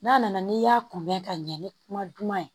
N'a nana n'i y'a kunbɛn ka ɲɛ ni kuma duman ye